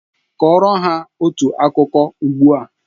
Kọrọ ha otu akụkọ ugbu a!